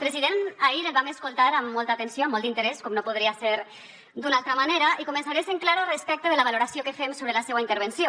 president ahir el vam escoltar amb molta atenció amb molt d’interès com no podria ser d’una altra manera i començaré sent clara respecte de la valoració que fem sobre la seua intervenció